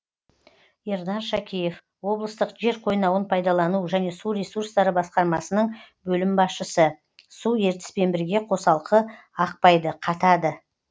ернар шакеев облыстық жер қойнауын пайдалану және су ресурстары басқармасының бөлім басшысы су ертіспен бірге қосалқы ақпайды қатады